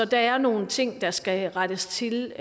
der er nogle ting der skal rettes til